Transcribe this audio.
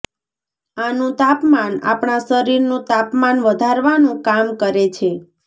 આનું તાપમાન અપણા શરીરનું તાપમાન વધારવાનું કામ કરે છે